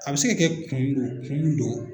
A bɛ se ka kɛ kun dɔ kun dɔ.